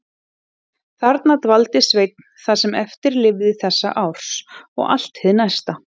Þarna dvaldi Sveinn það sem eftir lifði þessa árs og allt hið næsta.